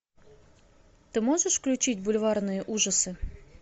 ты можешь включить бульварные ужасы